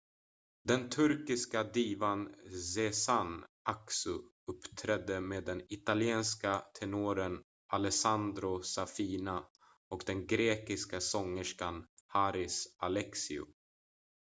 den turkiska divan sezen aksu uppträdde med den italienske tenoren alessandro safina och den grekiska sångerskan haris alexiou